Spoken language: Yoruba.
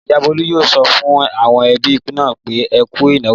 Ìyá Bólú yóò sọ fún àwọn ẹbí náà pé Ẹ kú ìnáwó.